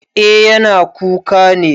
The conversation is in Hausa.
Eh yana kuka ne.